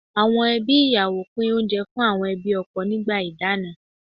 Àwọn ẹbí ìyàwó pín oúnjẹ fún àwọn ẹbí ọkọ nígbà ìdáná.